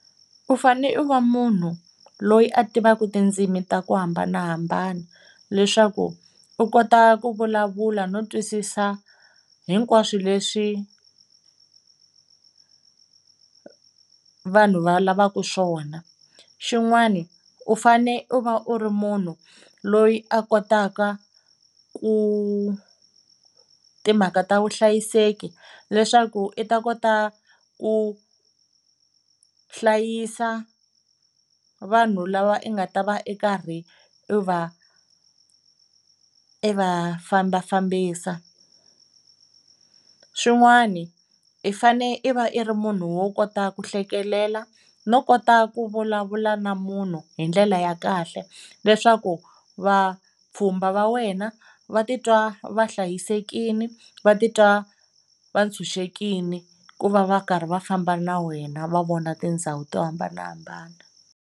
U fane u va munhu loyi a tivaka tindzimi ta ku hambanahambana leswaku u kota ku vulavula no twisisa hinkwaswo leswi vanhu va lavaka swona. Xin'wana u fane u va u ri munhu loyi a kotaka ku timhaka ta vuhlayiseki leswaku i ta kota ku hlayisa vanhu lava i nga ta va i karhi i va i va fambafambisa. Swin'wana, i fane i va i ri munhu wo kota ku hlekelela no kota ku vulavula na munhu hi ndlela ya kahle leswaku vapfhumba va wena va titwa va hlayisekile va titwa va tshunxekile ku va va karhi va famba na wena va vona tindhawu to hambanahambana.